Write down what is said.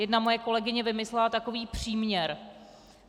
Jedna moje kolegyně vymyslela takový příměr.